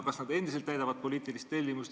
Kas nad endiselt täidavad poliitilist tellimust?